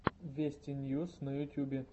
вести ньюс на ютубе